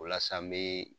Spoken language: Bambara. O la sa n bɛ